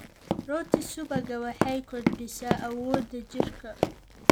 Rooti subagga waxay kordhisaa awoodda jidhka.